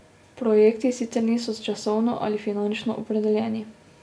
Projekti sicer niso časovno ali finančno opredeljeni.